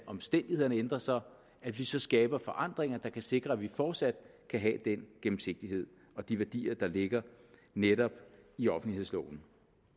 omstændighederne ændrer sig at vi så skaber forandringer der kan sikre at vi fortsat kan have den gennemsigtighed og de værdier der ligger netop i offentlighedsloven